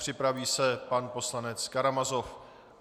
Připraví se pan poslanec Karamazov.